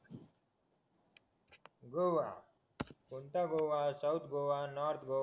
गोवा कोणता Goa north Goa south Goa